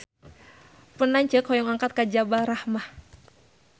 Pun lanceuk hoyong angkat ka Jabal Rahmah